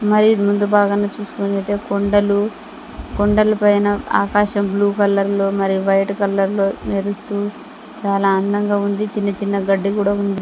మరియు ఇది ముందు భాగంలో చూసుకుంటున్నట్లయితే కొండలు కొండల పైన ఆకాశం బ్లూ కలర్ లో మరియు వైట్ కలర్ లో మెరుస్తూ చాలా అందంగా ఉంది చిన్న-చిన్న గడ్డి కూడా ఉంది.